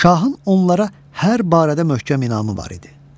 Şahın onlara hər barədə möhkəm inamı var idi.